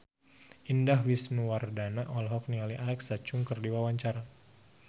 Indah Wisnuwardana olohok ningali Alexa Chung keur diwawancara